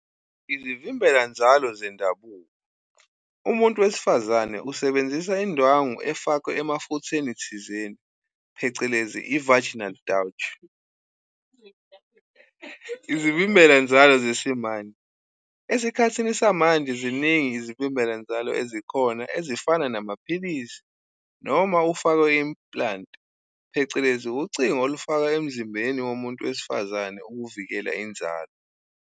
Izivimbela-nzalo zendabuko, umuntu wesifazane usebenzisa indwangu efakwe emafutheni thizeni, phecelezi i-vaginal douche. Izivimbela-nzalo zesimanje, esikhathini samanje ziningi izivimbela-nzalo ezikhona ezifana namaphilisi noma ufakwe implant phecelezi ucingo olufaka emzimbeni womuntu wesifazane ukuvikela inzalo.